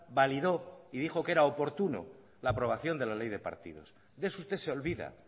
validó y dijo que era oportuna la aprobación de la ley de partidos de eso usted se olvida